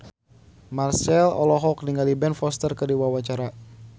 Marchell olohok ningali Ben Foster keur diwawancara